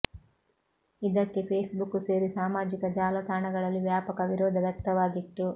ಇದಕ್ಕೆ Facebook ಸೇರಿ ಸಾಮಾಜಿಕ ಜಾಲತಾಣಗಳಲ್ಲಿ ವ್ಯಾಪಕ ವಿರೋಧ ವ್ಯಕ್ತವಾಗಿತ್ತು